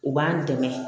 U b'an dɛmɛ